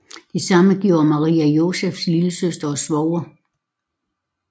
Det samme gjorde Maria Josefas lillesøster og svoger